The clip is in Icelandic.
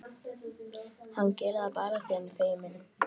Hann gerir það bara afþví hann er feiminn.